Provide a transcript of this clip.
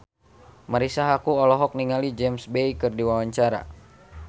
Marisa Haque olohok ningali James Bay keur diwawancara